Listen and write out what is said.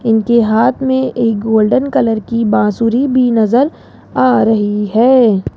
इनके हाथ में एक गोल्डन कलर की बांसुरी भी नजर आ रही है।